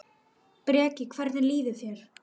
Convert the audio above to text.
Breki: Hvernig líður þér?